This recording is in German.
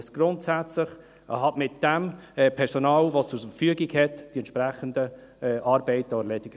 Es muss mit dem Personal, das ihm zur Verfügung steht, die entsprechenden Arbeiten erledigen.